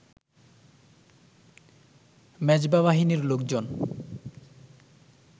মেজবা বাহিনীর লোকজন